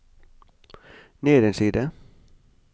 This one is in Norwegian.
ned en side